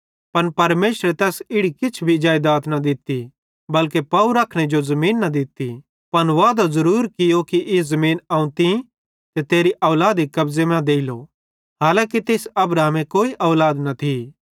पन परमेशरे तैस इड़ी किछ भी जेइदात न दित्ती बल्के पाव रखने जो भी ज़मीन न दित्ती पन वादो ज़रूर कियो कि ई ज़मीन अवं तीं ते तेरी औलादी कब्ज़े मां देलो हालांकी तेइस अब्राहमे कोई औलाद न थी